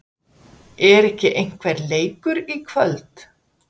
Er ekki einhver leikur í kvöld?